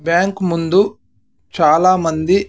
Bank ముందు చాలామంది.